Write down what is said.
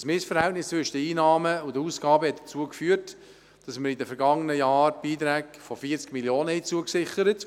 Das Missverhältnis zwischen Einnahmen und Ausgaben führte dazu geführt, dass man in den vergangenen Jahren Beiträge in der Höhe von 40 Mio. Franken zusicherte.